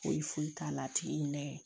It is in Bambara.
Foyi foyi t'a la a tigi nɛ